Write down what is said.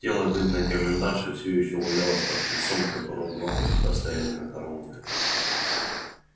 тело бедной комендантши все ещё валялось под крыльцом у которого два казака стояли на карауле